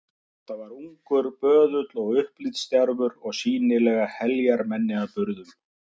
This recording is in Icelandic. Þetta var ungur böðull og upplitsdjarfur og sýnilega heljarmenni að burðum.